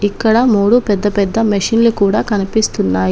ఇక్కడ మూడు పెద్ద పెద్ద మెషిన్లు కూడా కనిపిస్తున్నాయి.